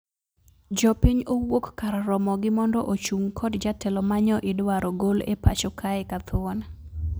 Jopiny owuok kar romogi mondo ochung` kod jatelo ma nyo idwaro gol epacho kae kathuon